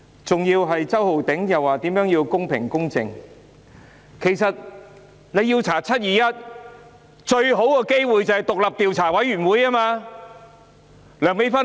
周浩鼎議員說要公平公正，其實，要調查"七二一"事件，最佳方法是成立獨立調查委員會。